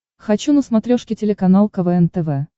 хочу на смотрешке телеканал квн тв